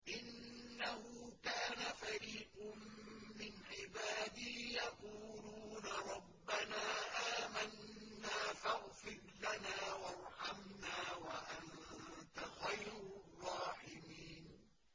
إِنَّهُ كَانَ فَرِيقٌ مِّنْ عِبَادِي يَقُولُونَ رَبَّنَا آمَنَّا فَاغْفِرْ لَنَا وَارْحَمْنَا وَأَنتَ خَيْرُ الرَّاحِمِينَ